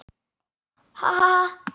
Hann: Ha ha ha.